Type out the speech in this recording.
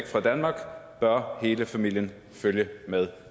fra danmark bør hele familien følge med